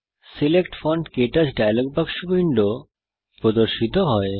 select font ক্টাচ dialog বাক্স window প্রদর্শিত করে